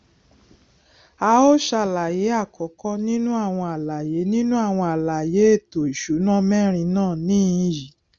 à ó ṣàlàyé àkọkọ nínú àwọn àlàyé nínú àwọn àlàyé èẹto ìsúná mẹrin náà níhìnín yi